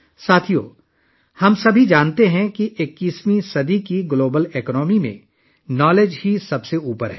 دوستو، ہم سب جانتے ہیں کہ 21ویں صدی کی عالمی معیشت میں علم سب سے اہم ہے